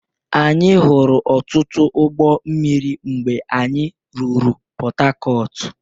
Anyị hụrụ ọtụtụ ụgbọ mmiri mgbe anyị ruru Pọtakọọtụ.